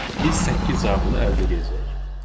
biz səkkiz cavabını əldə edəcəyik.